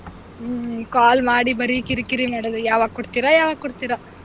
ಹ್ಮ್ call ಮಾಡಿ ಬರಿ ಕಿರಿ ಕಿರಿ ಮಾಡೋದು ಯಾವಾಗ್ ಕೊಡ್ತೀರಾ ಯಾವಾಗ್ ಕೊಡ್ತೀರಾ.